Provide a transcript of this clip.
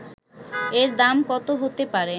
এর দাম কত হতে পারে